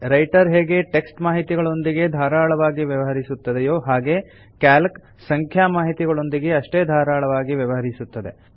writer ಹೇಗೆ text ಮಾಹಿತಿಗಳೊಂದಿಗೆ ಧಾರಾಳವಾಗಿ ವ್ಯವಹರಿಸುತ್ತದೆಯೋ ಹಾಗೇ ಕ್ಯಾಲ್ಕ್ ಸಂಖ್ಯಾ ಮಾಹಿತಿಗಳೊಂದಿಗೆ ಅಷ್ಟೇ ಧಾರಾಳವಾಗಿ ವ್ಯವಹರಿಸುತ್ತದೆ